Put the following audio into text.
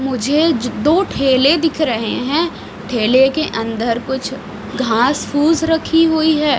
मुझे दो ठेले दिख रहे हैं ठेले के अंदर कुछ घास फूस रखी हुई है।